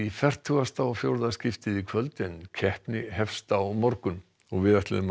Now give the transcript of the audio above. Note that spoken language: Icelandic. fertugasta og fjórða skiptið í kvöld en keppni hefst á morgun við ætluðum að